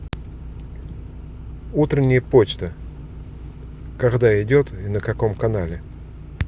утренняя почта когда идет и на каком канале